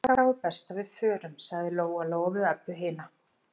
Þá er best að við förum, sagði Lóa-Lóa við Öbbu hina.